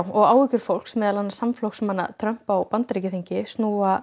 og áhyggjur fólks meðal annars samflokksmanna Trump á Bandaríkjaþingi snúa